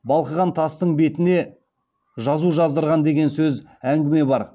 балқыған тастың бетіне жазу жаздырған деген де әңгіме бар